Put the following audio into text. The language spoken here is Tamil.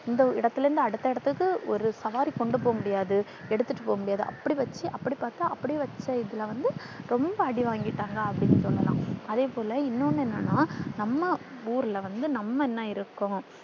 இந்த இடத்துல இருந்து அடுத்த இடத்துக்கு ஒரு சவாரி கொண்டு போக முடியாது எடுத்துட்டு போக முடியாது. அப்படி வச்சு அப்படி பாத்தா அப்டியே வெச்சிட்டா இதுல வந்து ரொம்ப அடி வாங்கிட்டாங்க அப்படின்னு சொல்லலாம். அதேபோல இன்னொன்னு என்னன்னா நம்ம ஊர்ல வந்து நம்ம என்னாயிருக்கோம்